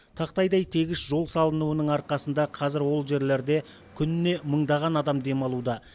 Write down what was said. тақтайдай тегіс жол салынуының арқасында қазір ол жерлерде күніне мыңдаған адам демалуда